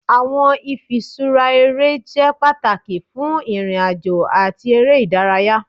Awọn ifiṣura ere jẹ pataki fun irin-ajo ati ere idaraya.